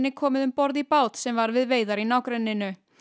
komið um borð í bát sem var við veiðar í nágrenninu